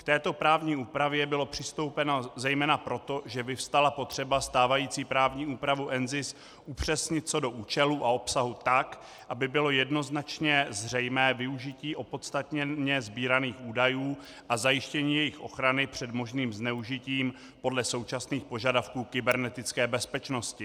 K této právní úpravě bylo přistoupeno zejména proto, že vyvstala potřeba stávající právní úpravu NZIS upřesnit co do účelu a obsahu tak, aby bylo jednoznačně zřejmé využití opodstatněně sbíraných údajů a zajištění jejich ochrany před možným zneužitím podle současných požadavků kybernetické bezpečnosti.